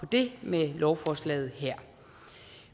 det med lovforslaget her